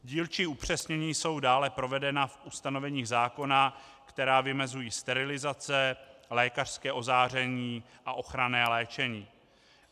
Dílčí upřesnění jsou dále provedena v ustanoveních zákona, která vymezují sterilizace, lékařské ozáření a ochranné léčení.